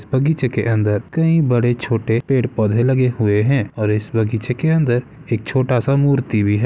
बगीचे के अंदर कई बड़े-छोटे पेड़-पौधे लगे हुए हैं और इस बगीचे के अंदर एक छोटा सा मूर्ति भी है।